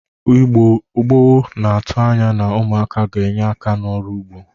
Igbo gboo na-atụ anya na umụaka ga-enye aka n'ọrụ ụgbọ